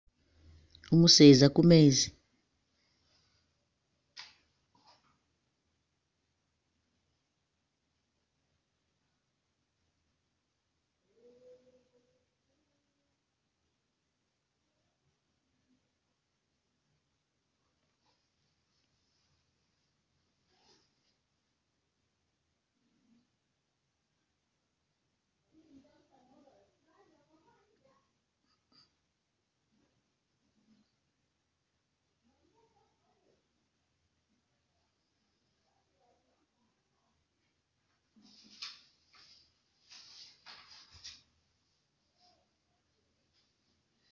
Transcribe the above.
Umuseza kumeezi